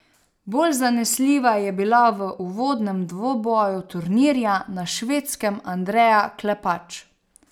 Bolj zanesljiva je bila v uvodnem dvoboju turnirja na Švedskem Andreja Klepač.